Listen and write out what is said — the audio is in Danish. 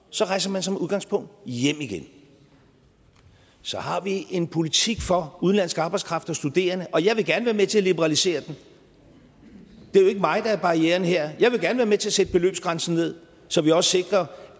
så rejser man som udgangspunkt hjem igen så har vi en politik for udenlandsk arbejdskraft og studerende og jeg vil gerne være med til at liberalisere den det er jo ikke mig der er barrieren her jeg vil gerne være med til at sætte beløbsgrænsen ned så vi også sikrer